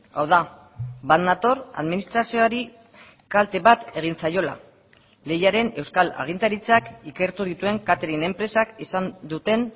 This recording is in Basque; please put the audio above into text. hau da bat nator administrazioari kalte bat egin zaiola lehiaren euskal agintaritzak ikertu dituen katering enpresak izan duten